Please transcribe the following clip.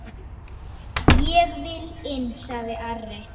Ég vil inn, sagði Ari.